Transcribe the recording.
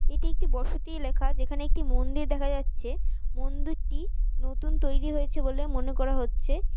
এটি একটি বসতি এলাকা যেখান একটি মন্দির দেখা যাচ্ছে। মন্দিরটি নতুন তৈরি হয়েছে বলে মনে করা হচ্ছে।